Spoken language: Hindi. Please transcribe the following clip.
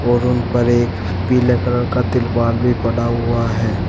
और उन पर एक पीले कलर का तिरपाल भी पड़ा हुआ है।